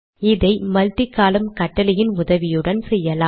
இதை multi column கட்டளையின் உதவியுடன் செய்யலாம்